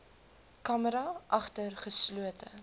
camera agter geslote